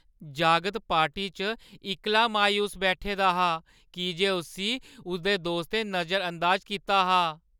जागत पार्टी च इक्कला मायूस बैठे दा हा की जे उस्सी उसदे दोस्तें नजरअंदाज कीता हा।